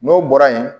N'o bɔra yen